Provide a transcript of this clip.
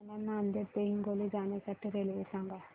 मला नांदेड ते हिंगोली जाण्या साठी रेल्वे सांगा